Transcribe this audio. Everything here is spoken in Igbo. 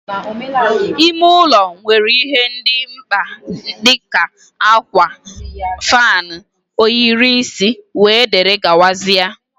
ime ụlọ nwere ihe ndị dị mkpa dị ka, akwa, fan, ohiri isi wdg.